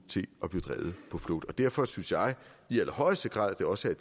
på flugt derfor synes jeg i allerhøjeste grad at det også er